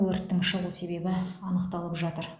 өрттің шығу себебі анықталып жатыр